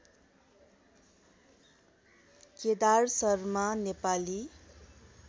Kedar Sharma Nepali